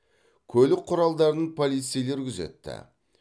көлік құралдарын полицейлер күзетті